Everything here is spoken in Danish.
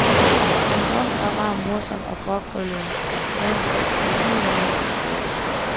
En rund og rar, morsom og gråkrøllet mand, der smiler, mens han siger det.